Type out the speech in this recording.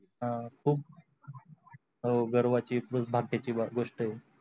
ह खूप हव गर्वा ची भाग्याची गोष्ट आहे.